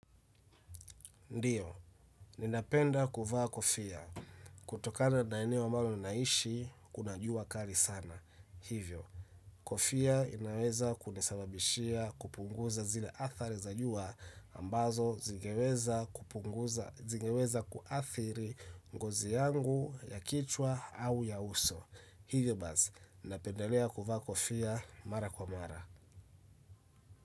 Ndiyo, ninapenda kuvaa kofia kutokana na eneo ambalo ninaishi, kuna jua kali sana. Hivyo, kofia inaweza kunisababishia kupunguza zile athari za jua ambazo zingeweza kupunguza, zingeweza kuathiri ngozi yangu ya kichwa au ya uso. Hivyo basi, napendelea kuvaa kofia mara kwa mara.